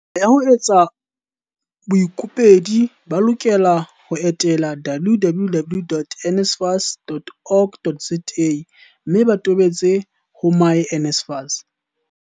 Tsela ya ho etsa kopo Baikopedi ba lokela ho etela www.nsfas.org.za mme ba tobetse ho myNSFAS.